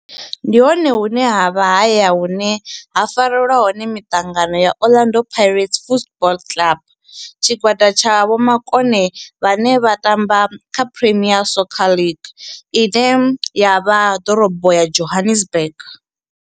Ndi hone hune havha haya hune ha farelwa hone miṱangano ya Orlando Pirates Football Club. Tshigwada tsha vhomakone vhane vha tamba kha Premier Soccer League ine ya vha ḓorobo ya Johannesburg.